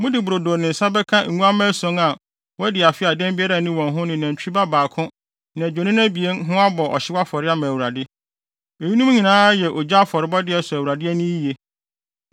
Mode brodo ne nsa bɛka nguamma ason a wɔadi afe a dɛm biara nni wɔn ho ne nantwi ba baako ne adwennini abien ho abɔ ɔhyew afɔre ama Awurade. Eyinom nyinaa yɛ ogya afɔrebɔde a ɛsɔ Awurade ani yiye.